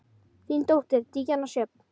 Þín dóttir, Díana Sjöfn.